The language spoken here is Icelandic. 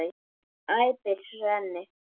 æpir Svenni.